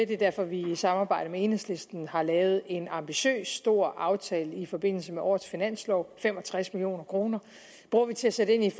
det er derfor at vi i samarbejde med enhedslisten har lavet en ambitiøs stor aftale i forbindelse med årets finanslov fem og tres million kroner bruger vi til at sætte ind